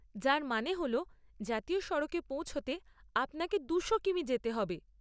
যার মানে হল জাতীয় সড়কে পৌঁছতে আপনাকে দুশো কিমি যেতে হবে।